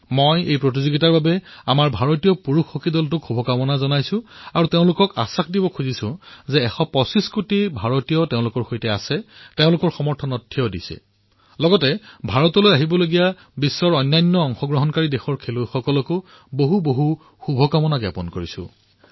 মই এই প্ৰতিযোগিতাৰ বাবে ভাৰতীয় পুৰুষ হকী দলক শুভকামনা জনাইছোঁ আৰু তেওঁলোকক আশ্বাস দিছোঁ যে এশ পঁচিছ কোটি ভাৰতীয় তেওঁলোকৰ সৈতে আছে তেওঁলোকক সমৰ্থন প্ৰদান কৰিছে আৰু ভাৰতলৈ অহা বিশ্বৰ অন্য দলসমূহকো অশেষ শুভকামনা জনাইছোঁ